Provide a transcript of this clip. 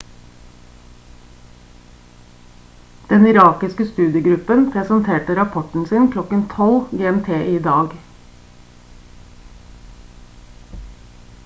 den irakiske studiegruppen presenterte rapporten sin klokken 12.00 gmt i dag